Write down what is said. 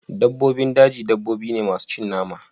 Dabbobin daji dabbobi ne masu cin nama